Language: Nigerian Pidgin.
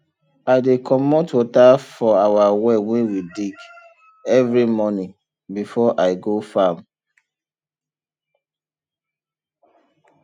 i dey commot water for our well wey we dig every morning before i go farm